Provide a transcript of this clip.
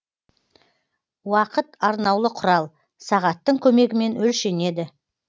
уақыт арнаулы кұрал сағаттың көмегімен өлшенеді